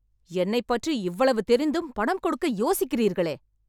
என்னைப் பற்றி இவ்வளவு தெரிந்தும் பணம் கொடுக்க யோசிக்கிறீர்களே